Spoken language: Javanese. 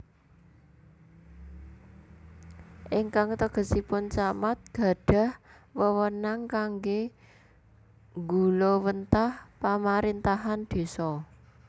Ingkang tegesipun Camat gadhah wewenang kangge nggulawentah pamarintahan désa